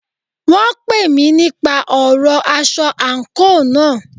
Wọ́n pè mí nípa ọ̀rọ aṣọ àńkò náà.